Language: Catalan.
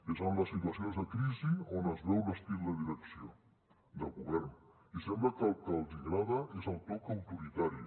és en les situacions de crisi on es veu l’estil de direcció del govern i sembla que el que els agrada és el toc autoritari